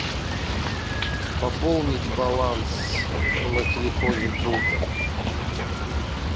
пополнить баланс на телефоне друга